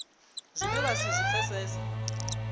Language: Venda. zwine vha si zwi pfesese